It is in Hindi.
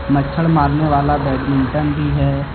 मच्छर मारने वाला बैडमिंटन भी है।